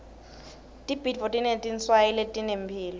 tibhidvo tinetinswayi letinemphilo